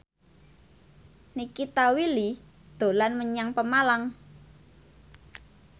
Nikita Willy dolan menyang Pemalang